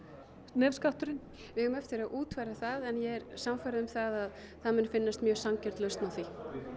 nefskatturinn við eigum eftir að útfæra það en ég er sannfærð um það að það mun finnast mjög sanngjörn lausn á því